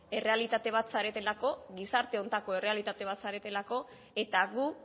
errealitate bat zaretelako gizarte honetako errealitate bat zaretelako eta gu